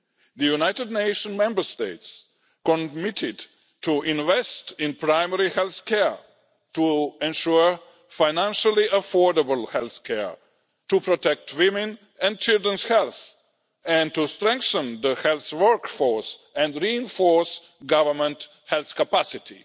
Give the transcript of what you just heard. The United Nations member states committed to invest in primary health care, to ensure financially affordable health care, to protect women and children's health and to strengthen the health workforce and reinforce government health capacity.